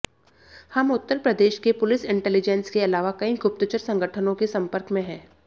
हम उत्तर प्रदेश के police intelligence के अलावा कई गुप्तचर संगठनों के सम्पर्क में हैं